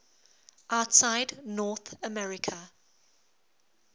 outside north america